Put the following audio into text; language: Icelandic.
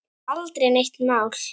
Þetta var aldrei neitt mál.